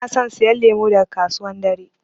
Bana son siyan lemu daga kasuwan dare.